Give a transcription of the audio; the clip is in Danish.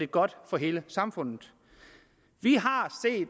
godt for hele samfundet vi har